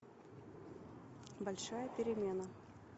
большая перемена